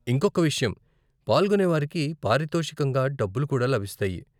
ఇంకొక్క విషయం, పాల్గొనేవారికి పారితోషికంగా డబ్బులు కూడా లభిస్తాయి.